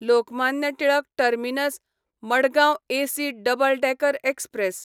Lokmanya Tilak terminus Madgaon AC double decker express